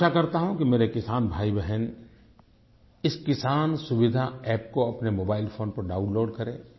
मैं आशा करता हूँ कि मेरे किसान भाईबहन इस किसान सुविधा अप्प को अपने मोबाइलफोन पर डाउनलोड करें